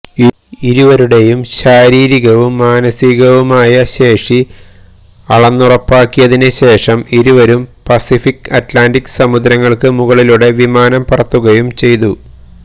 ഇരുവരുടെയും ശാരീരികവും മാനസികവുമായ ശേഷി അളന്നുറപ്പാക്കിയതിന് ശേഷം ഇരുവരും പസിഫിക്ക് അറ്റ്ലാന്റിക് സമുദ്രങ്ങൾക്ക് മുകളിലൂടെ വിമാനം പറത്തുകയും ചെയ്തു